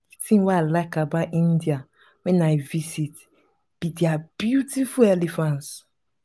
the thing wey i like about india wen i visit be their beautiful elephants